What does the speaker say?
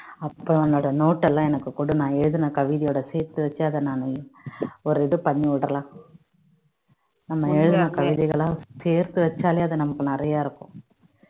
அப்போஉன்னோட note ல்லாம் எனக்கு கொடு நான் எழுதுன கவிதையோட சேர்த்து வச்சு அதை நான் ஒரு இது பண்ணி விடலாம் நம்ம எழுதின கவிதைகளா சேர்த்து வச்சாலே அது நமக்கு நிறைய இருக்கும்